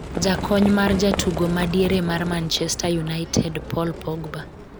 jakony mar jatugo ma diere mar Manchester United Paul Pogba